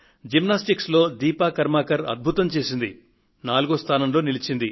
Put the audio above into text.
gymnastics లో దీపా కర్మాకర్ అద్భుతం సాధించారు ఆమె నాలుగో స్థానంలో నిలచారు